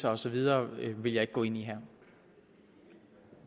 og så videre vil jeg ikke gå ind i